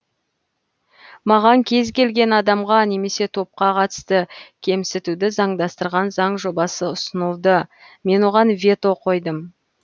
маған кез келген адамға немесе топқа қатысты кемсітуді заңдастырған заң жобасы ұсынылды мен оған вето қойдым